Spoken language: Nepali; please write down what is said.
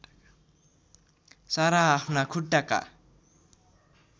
सारा आफ्ना खुट्टाका